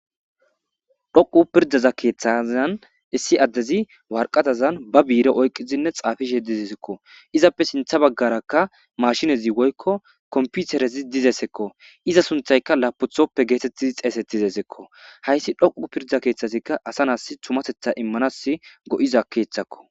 Dhoqu pirdaza keeththazan issi addezi warqatazan ba biire oyqizinne xaafishe dizesekko izappe sintha baggarakka mashinezi woykko komputerezi dizesekko iza sunthayka laaputhoppe geetettizi xeesettizeseekko hayssi dhoqu pirda keeththazikka asa nas tumatetha immanas go'iza keethakko